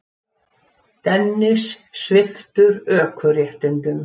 Dennis sviptur ökuréttindum